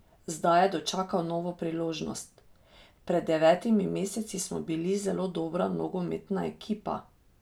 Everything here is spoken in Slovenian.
Zdaj je dočakal novo priložnost: "Pred devetimi meseci smo bili zelo dobra nogometna ekipa.